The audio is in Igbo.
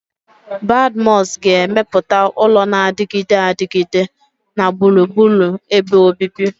Badmus ga-emepụta ụlọ na-adịgide adịgide na gburugburu ebe obibi.